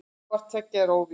Hvort tveggja er óvíst.